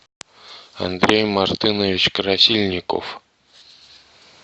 андрей мартынович красильников